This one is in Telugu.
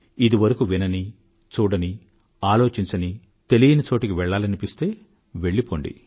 ఇదివరకూ వినని చూడని ఆలోచించని తెలియని చోటుకు వెళ్ళాలనిపిస్తే వెళ్ళిపోండి